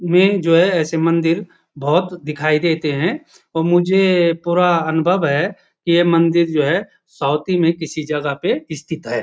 में जो है ऐसे मंदिर बहुत दिखाई देते हैं और मुझे पूरा अनुभव है कि ये मंदिर जो है साउथी में किसी जगह पे स्थित है।